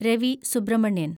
Ravi Subramanian